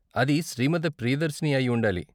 అది శ్రీమతి ప్రియదర్శిని అయి ఉండాలి.